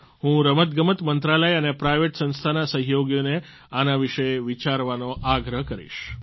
હું રમતગમત મંત્રાલય અને પ્રાઈવેટ સંસ્થાના સહયોગીઓને આના વિશે વિચારવાનો આગ્રહ કરીશ